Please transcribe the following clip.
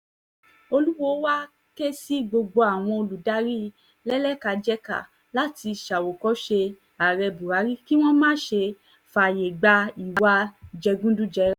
olùwòo wáá ké sí gbogbo àwọn adarí lẹ́lẹ́kàjẹkà láti ṣàwòkọ́ṣe ààrẹ buhari kí wọ́n má ṣe fààyè gba ìwà jẹgúdújẹrá